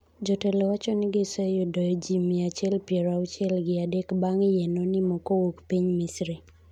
jotelo wacho ni giseyudo ji mia achiel piero auchiel gi adek bang' yie no nimo kowuok Piny Misri